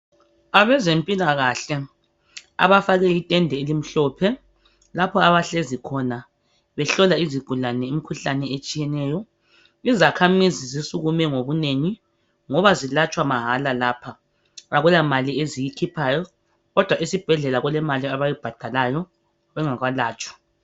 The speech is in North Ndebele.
Abezempilakahle abafake intende elimhlophe lapho abahlezi khona behlola izigulane imikhuhlane etshiyeneyo. Izakhamizi zisukume ngobunengi ngoba zilatshwa mahala lapha akula mali eziyikhiphayo lapha, kodwa esibhedlela kulemali abayibhadalayo bengakalatshwa.